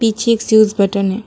पीछे एक switch button --